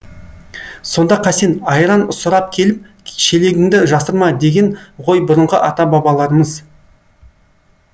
сонда қасен айран сұрап келіп шелегіңді жасырма деген ғой бұрынғы ата бабаларымыз